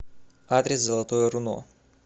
адрес золотое руно